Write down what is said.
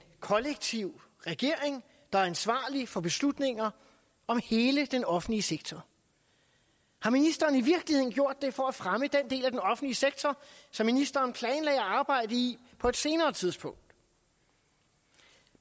kollektiv regering der er ansvarlig for beslutninger om hele den offentlige sektor har ministeren i virkeligheden gjort det for at fremme den del af den offentlige sektor som ministeren planlagde at arbejde i på et senere tidspunkt